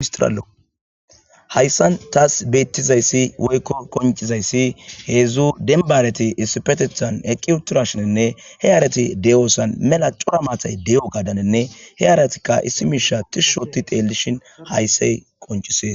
istraallo hayssan taas beettizayssi woykko koncizayssi heedzdzu denbareti issipetethan eqqi uturashinenne he yaarati de7oossan mela cora maatay de7o gadanenne he aaratikka issi miisha tishshoti teellishin hayssay qoncisees